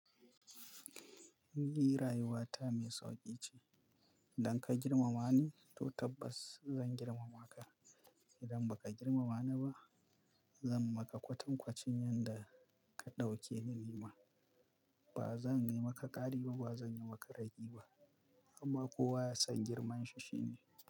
Ni rayuwata mai sauƙi ce. Idan ka girmama ni, to tabbas zan girmama ka. Idan baka girmamani ba zan maka kwatankwacin yanda ka ɗaukeni nima. Ba zan yi maka ƙari ba, ba zan yi maka ragi ba. Amma kowa ya san girman shi shi ne.